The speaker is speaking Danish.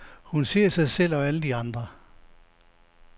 Hun ser sig selv og alle de andre.